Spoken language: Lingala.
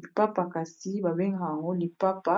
Lipapa kasi babengaka yango lipapa